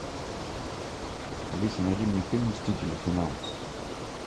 алиса найди мне фильм мстители финал